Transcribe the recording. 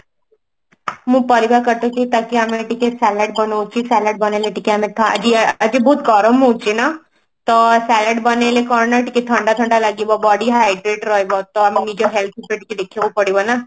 ମୁଁ ପରିବା କାଟୁଛି ତାକି ଆମର ଟିକେ ସଲାଡ୍ ବନୋଉଛି ସଲାଡ୍ ବନେଇଲେ ଟିକେ ଆମେ ଖା ଆଜି ବହୁତ ଗରମ ହଉଛି ନା ତ ସଲାଡ୍ ବନେଇଲେ କଣ ଟିକେ ଥଣ୍ଡା ଥଣ୍ଡା ଲାଗିବ body hydrate ରହିବ ତ ଆମ health କୁ ବି ଟିକେ ଦେଖିବାକୁ ପଡିବ ନା